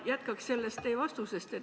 Ma jätkan teie vastusest.